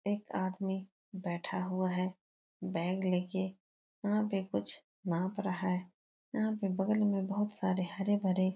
एक आदमी बैठा हुआ है बैग लेके। यहाँ पे कुछ नाप रहा है। यहाँ पे बगल में बोहोत सारे हरे-भरे --